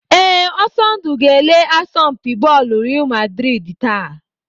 Ee, Ọsọndụ ga-ele asọmpi bọọlụ Real maldrid taa.